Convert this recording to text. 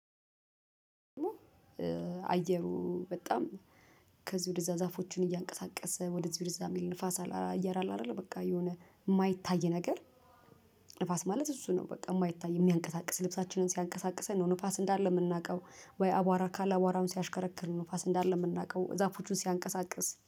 አየሩ በጣም ከዚህ ወደዛ ዛፎችን እያንቀሳቀሰ ወደዚህ ወደዛ የሚል ንፋስ አየር አለ አይደለ በቃ የሆነ የማይታይ ነገር። ንፋስ ማለት እሱ ነው በቃ የማይታይ የሚያንቀሳቅስ ልብሳችንን ሲያንቀሳቅሰን ነው። ንፋስ እንዳለ የምናውቀው ወይ አቧራ ካለ አቧራውን ሲያሽከረክር ነው እንዳለ የምናውቀው ዛፎቹን ሲያንቀሳቅስ